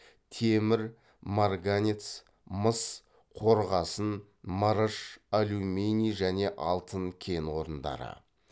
темір марганец мыс қорғасын мырыш алюминий және алтын кен орындары